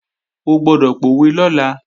O gbọ́dọ̀ pòwe lọ́la!